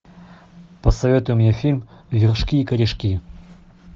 посоветуй мне фильм вершки и корешки